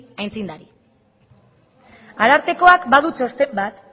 aitzindari arartekoak badu txosten bat